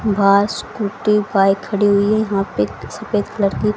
भांस scooty bike खड़ी हुई है यहां पे एक सफेद कलर की।